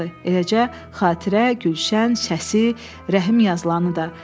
Eləcə xatirə, gülşən, səsi, rəhim yazılanı da.